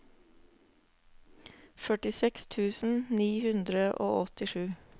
førtiseks tusen ni hundre og åttisju